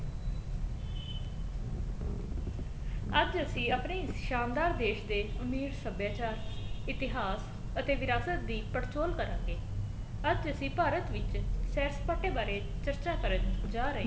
ਅੱਜ ਅਸੀਂ ਆਪਣੀ ਸ਼ਾਨਦਾਰ ਦੇਸ਼ ਦੇ ਅਮੀਰ ਸੱਭਿਆਚਾਰ ਇਤਿਹਾਸ ਅਤੇ ਵਿਰਾਸਤ ਦੀ ਪੜਚੋਲ ਕਰਾਂਗੇ ਅੱਜ ਅਸੀਂ ਭਾਰਤ ਵਿੱਚ ਸੈਰ ਸਪਾਟੇ ਬਾਰੇ ਚਰਚਾ ਕਰਨ ਜਾ ਰਹੇ